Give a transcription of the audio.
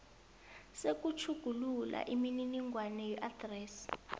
sokutjhugulula imininingwana yeadresi